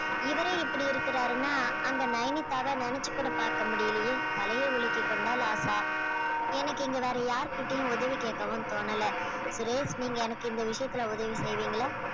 இவரே இப்படி இருக்குறாருன்னா அங்க நையனிதாவ நெனச்சு கூட பாக்க முடியலயே தலைய உலுக்கி கொண்டாள் ஆஷா எனக்கு இங்க வேற யார்கிட்டயும் உதவி கேட்கவும் தோணல சுரேஷ் நீங்க எனக்கு இந்த விஷயத்துல உதவி செய்வீங்களா